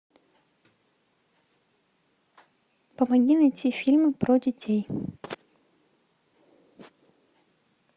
помоги найти фильм про детей